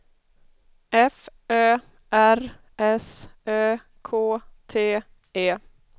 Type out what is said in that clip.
F Ö R S Ö K T E